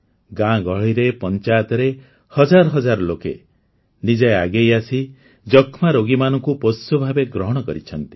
ଗାଁଗହଳିରେ ପଞ୍ଚାୟତରେ ହଜାର ହଜାର ଲୋକେ ନିଜେ ଆଗେଇ ଆସି ଯକ୍ଷ୍ମା ରୋଗୀମାନଙ୍କୁ ପୋଷ୍ୟ ଭାବେ ଗ୍ରହଣ କରିଛନ୍ତି